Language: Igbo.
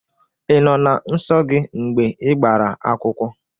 I nọ na nso gị mgbe igbara akwụkwọ?